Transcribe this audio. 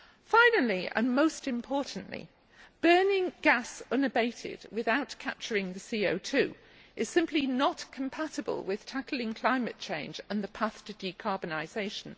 Finally, and most importantly, burning gas unabated without capturing the CO 2 is simply not compatible with tackling climate change and the path to decarbonisation.